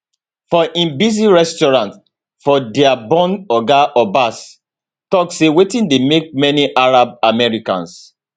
for im busy restaurant for dearborn oga abbas tok say wetin dey make many arab americans